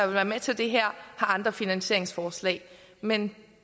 være med til det her har andre finansieringsforslag men